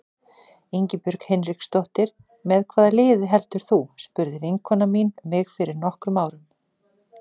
Ingibjörg Hinriksdóttir Með hvaða liði heldur þú? spurði vinkona mín mig fyrir nokkrum árum.